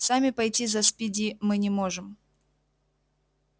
сами пойти за спиди мы не можем